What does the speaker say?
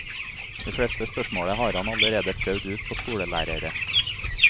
De fleste spørsmålene har han allerede prøvd ut på skolelærere.